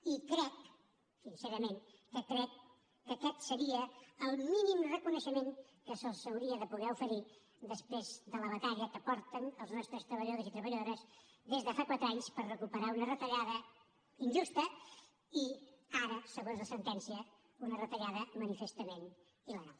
i crec sincerament que aquest seria el mínim reconeixement que se’ls hauria de poder oferir després de la batalla que porten els nostres treballadors i treballadores des de fa quatre anys per recuperar una retallada injusta i ara segons la sentència una retallada manifestament il·legal